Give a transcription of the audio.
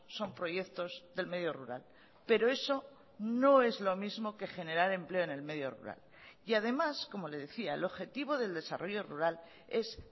son proyectos del medio rural pero eso no es lo mismo que generar empleo en el medio rural y además como le decía el objetivo del desarrollo rural es